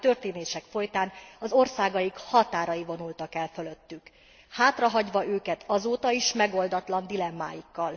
századi történések folytán az országaik határai vonultak el fölöttük, hátrahagyva őket azóta is, megoldatlan dilemmáikkal.